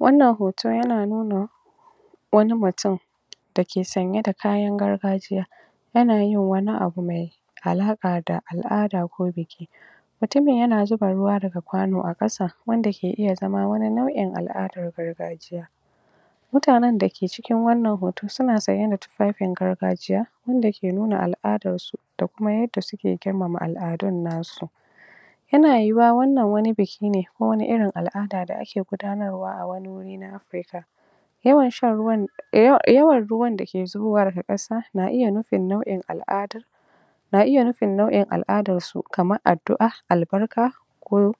Wannan hoto yana nuna wani mutum dake sanye da kayan gargajiya yana yin wani abu mai alaƙa da al'ada ko biki mutumin yana zuba ruwa daga kwano a ƙasa wanda ke iya zama wani nau'in al'adar gargajiya mutanen dake cikin wannan hoto suna sanye da tufafin gargajiya wanda ke nuna al'adarsu da kuma yadda suke girmama al'adun nasu yana yiwuwa wannan wani biki ne ko wani irin al'ada daa ake gudanarwa a wani wuri na Afrika yawan shan ruwa yawan, yawan ruwan dake zubowa daga ƙasa na iya nufin nau'in al'ada na iya nufin nau'in al'aadarsu kamar addu'a albarka ko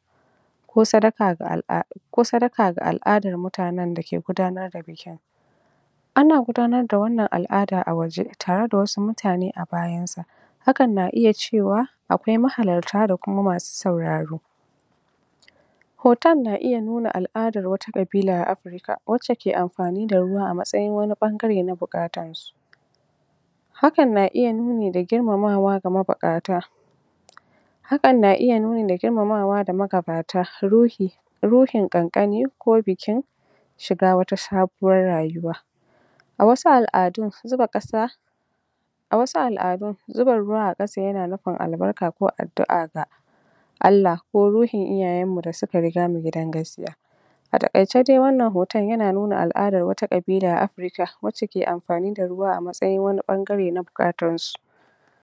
ko sadaka ga al'a ko sadaka ga al'adar mutanen dake gudanar da bikin ana gudanarda wannan al'ada a waje tareda wasu mutane a bayansa hakan na iya cewa akwai mahalarta da kuma masu sauraro hoton na iya nuna wata ƙabila a Afrika wacce ke amfani da ruwa a matsayin wani ɓangare na buƙatarta hakan na iya nuni da girmamawa ga mabuƙata hakan na iya nuni da girmamawa ga magabata ruhi ruhin ƙanƙani ko bikin shiga wata sabuwar rayuwa a wasu al'adun, zuba ƙasa a wasu al'adun zuba ruwa a ƙasa yan nufin albarka ko addu'a ga Allah ko ruhin iyayenmu da suka rigamu gidan gaskiya a taƙaice dai wannan hoton yana nuna al'aadar wata ƙabila a Afrika wacce ke amfani da ruwa a matsayin wani ɓangare na buƙatarsu